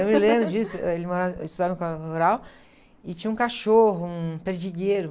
Eu me lembro disso, eh, ele morava, ele estudava em uma escola rural e tinha um cachorro, um perdigueiro.